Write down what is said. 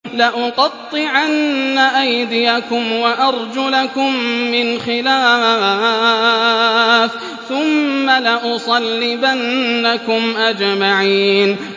لَأُقَطِّعَنَّ أَيْدِيَكُمْ وَأَرْجُلَكُم مِّنْ خِلَافٍ ثُمَّ لَأُصَلِّبَنَّكُمْ أَجْمَعِينَ